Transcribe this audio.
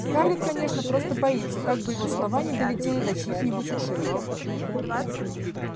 скарлетт конечно просто боится как бы его слова не долетели до чьих-нибудь ушей